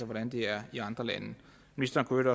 hvordan de er i andre lande ministeren kunne